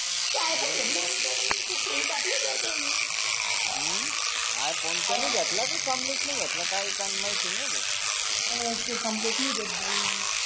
story टाकली तर त्यांनी हम्म आइ फोन त्यांनी घेतला का कमलेश नि घेतला ते कमलेश नाही घेत बाई